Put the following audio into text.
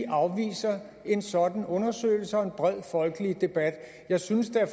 afviser en sådan undersøgelse og en bred folkelig debat jeg synes at